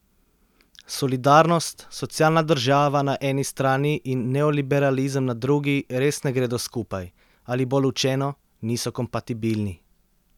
Solidarnost, socialna država na eni strani in neoliberalizem na drugi res ne gredo skupaj, ali bolj učeno, niso kompatibilni.